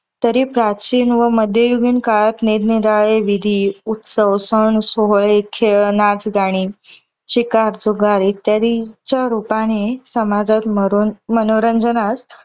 तरी प्राचीन व मध्ययुगीन काळात निरनिराळे विधी, उत्सव, सण, सोहळे, खेळ, नाच, गाणे, शिकार, जुगार इत्यादीच्या रूपाने समाजात मरो मनोरंजनात